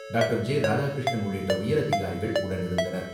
டாக்டர்.ராதாகிருஷ்ணன் உள்ளிட்ட உயரதிகாரிகள் உடனிருந்தனர்.